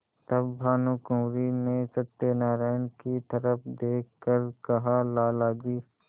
तब भानुकुँवरि ने सत्यनारायण की तरफ देख कर कहालाला जी